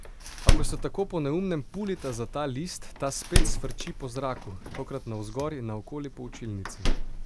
A ko se tako po neumnem pulita za list, ta spet sfrči po zraku, tokrat navzgor in naokoli po učilnici.